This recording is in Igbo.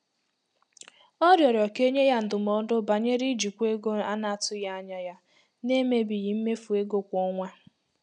Ọ rịọrọ ka e nye ya ndụmọdụ banyere ijikwa ego a na-atụghị anya ya n'emebighị mmefu ego kwa ọnwa.